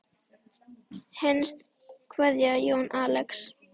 Hinsta kveðja Jón Axel.